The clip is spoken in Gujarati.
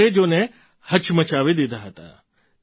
અંગ્રેજોને હચમચાવી દીધા હતા